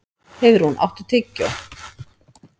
Heiðrún, áttu tyggjó?